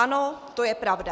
Ano, to je pravda.